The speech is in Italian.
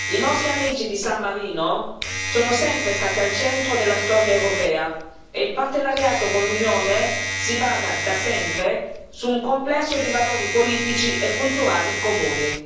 I nostri amici di San Marino sono sempre stati al centro della storia europea e il partenariato con l'Unione si basa, da sempre, su un complesso di valori politici e culturali comuni.